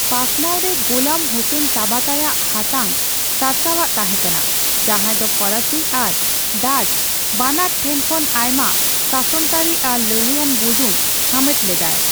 ᱯᱟᱥᱱᱟᱣᱨᱮ ᱜᱳᱞᱟᱢ ᱦᱳᱥᱮᱱ ᱛᱟᱵᱟᱛᱟᱭ ᱟᱜ ᱦᱟᱛᱟᱝ ᱥᱟᱨᱥᱟᱣᱟᱜ ᱛᱟᱦᱮᱸᱠᱟᱱᱟ, ᱡᱟᱦᱟᱸᱭ ᱫᱚ ᱯᱷᱚᱨᱟᱥᱤ ᱟᱨ ᱰᱟᱪ ᱵᱟᱱᱟᱨ ᱴᱷᱮᱱ ᱠᱷᱚᱱ ᱟᱭᱢᱟ ᱥᱟᱥᱚᱱᱛᱟᱹᱨᱤ ᱟᱨ ᱞᱟᱲᱦᱟᱹᱭᱟᱱ ᱵᱩᱡᱩᱱ ᱦᱟᱢᱮᱴ ᱞᱮᱫᱟᱭ ᱾